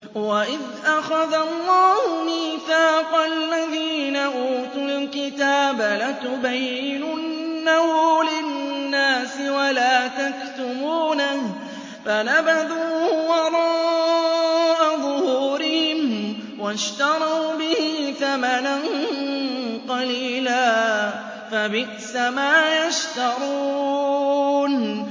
وَإِذْ أَخَذَ اللَّهُ مِيثَاقَ الَّذِينَ أُوتُوا الْكِتَابَ لَتُبَيِّنُنَّهُ لِلنَّاسِ وَلَا تَكْتُمُونَهُ فَنَبَذُوهُ وَرَاءَ ظُهُورِهِمْ وَاشْتَرَوْا بِهِ ثَمَنًا قَلِيلًا ۖ فَبِئْسَ مَا يَشْتَرُونَ